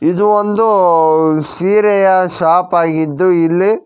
ಇದು ಒಂದು ಸೀರೆಯ ಶಾಪ್ ಆಗಿದ್ದು ಇಲ್ಲಿ--